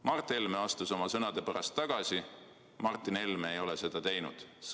Mart Helme astus oma sõnade pärast tagasi, Martin Helme ei ole seda teinud.